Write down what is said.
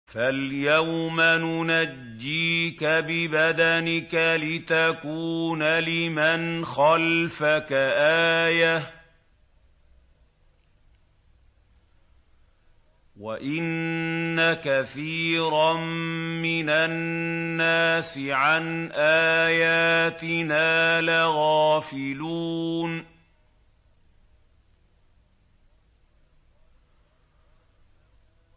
فَالْيَوْمَ نُنَجِّيكَ بِبَدَنِكَ لِتَكُونَ لِمَنْ خَلْفَكَ آيَةً ۚ وَإِنَّ كَثِيرًا مِّنَ النَّاسِ عَنْ آيَاتِنَا لَغَافِلُونَ